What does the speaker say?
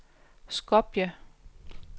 Skopje